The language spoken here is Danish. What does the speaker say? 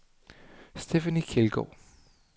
Stephanie Kjeldgaard